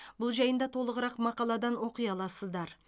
бұл жайында толығырақ мақаладан оқи аласыздар